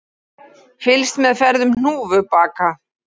Fylgst með ferðum hnúfubaka